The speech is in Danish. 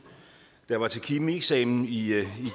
at da jeg var til kemieksamen i